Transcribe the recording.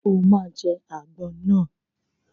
O ma jẹ́ àgbọn náà!